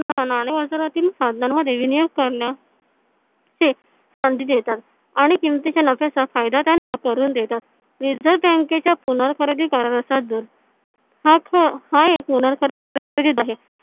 नाणे बाजारातील संधी देतात आणि किमतीच्या नफ्याचा फायदा त्यांना करून देतात reserve bank च्या हा एक आहे